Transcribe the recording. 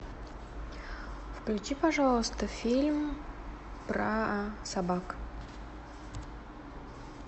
включи пожалуйста фильм про собак